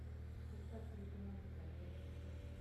поставь телеканал усадьба на тв